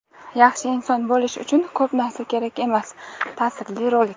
Yaxshi inson bo‘lish uchun ko‘p narsa kerak emas – ta’sirli rolik!.